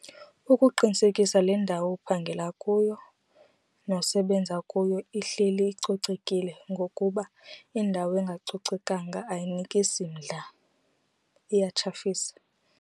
Ukuqinisekisa le ndawo uphangela kuyo nosebenza kuyo ihleli icocekile ngokuba indawo engacocekanga ayinikisi mdla iyatshafisa.